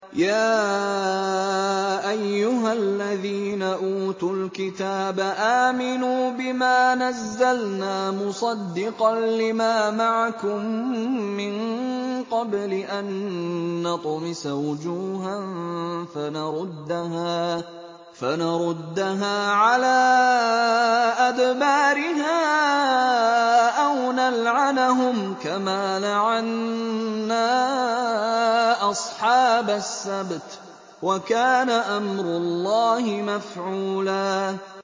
يَا أَيُّهَا الَّذِينَ أُوتُوا الْكِتَابَ آمِنُوا بِمَا نَزَّلْنَا مُصَدِّقًا لِّمَا مَعَكُم مِّن قَبْلِ أَن نَّطْمِسَ وُجُوهًا فَنَرُدَّهَا عَلَىٰ أَدْبَارِهَا أَوْ نَلْعَنَهُمْ كَمَا لَعَنَّا أَصْحَابَ السَّبْتِ ۚ وَكَانَ أَمْرُ اللَّهِ مَفْعُولًا